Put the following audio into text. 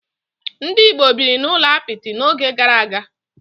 Ndị Igbo biri n'ụlọ apịtị n'oge gara aga.